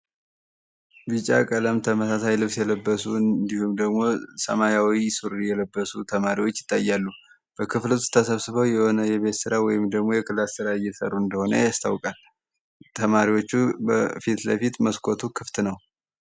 ቢጫ ቀላም ተመሳሳይ ልብስ የለበሱ እንዲሁም ደግሞ ሰማ0ዊ ሱሪ የለበሱ ተማሪዎች ይታያሉ። በክፍል ውስት ተሰብስበው የሆነ የቤትስራ ወይም ደግሞ የክላስ ስራ እሰሩ እንደሆነ ያስታውቃል። ተማሪዎቹ በፊት ለፊት መስኮቱ ክፍት ነው።